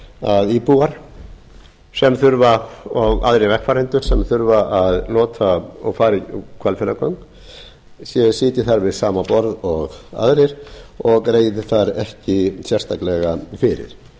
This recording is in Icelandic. að íbúar sem þurfa að nota og fara í hvalfjarðargöng sitji þar við sama borð og aðrir og greiði þar ekki sérstaklega fyrir